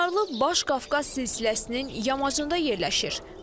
Çınarlı Baş Qafqaz silsiləsinin yamacında yerləşir.